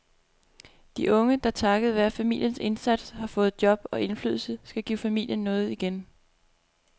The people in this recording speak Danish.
De unge, der takket være familiens indsats har fået job og indflydelse, skal give familien noget igen.